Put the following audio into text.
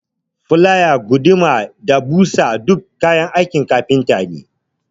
Filaya, guduma da ɓusa duka kayan aikin kafinta ne.